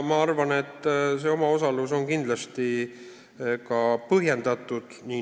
Ma arvan, et see omaosalus on kindlasti ka põhjendatud.